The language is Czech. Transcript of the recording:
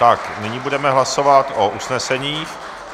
Tak nyní budeme hlasovat o usnesení.